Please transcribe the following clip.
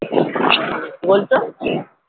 কি বলছ